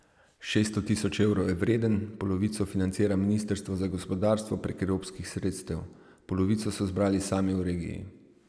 Šeststo tisoč evrov je vreden, polovico financira ministrstvo za gospodarstvo prek evropskih sredstev, polovico so zbrali sami v regiji.